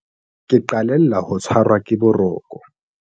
ke qalella ho tshwarwa ke boroko